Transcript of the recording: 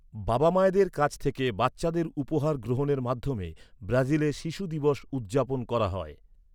বাবামায়েদের কাছ থেকে বাচ্চাদের উপহার গ্রহণের মাধ্যমে ব্রাজিলে শিশু দিবস উদ্‌যাপন করা হয়।